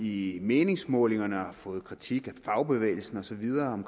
i meningsmålingerne og har fået kritik af fagbevægelsen og så videre